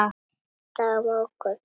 Birta: En á morgun?